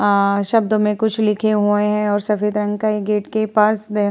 अ शब्दों में कुछ लिखे हुए है और सफ़ेद रंग का ये गेट के पास द --